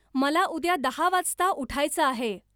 मला उद्या दहा वाजता उठायचं आहे